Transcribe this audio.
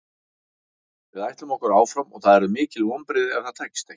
Við ætlum okkur áfram og það yrðu mikil vonbrigði ef það tækist ekki.